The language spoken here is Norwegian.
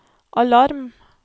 alarm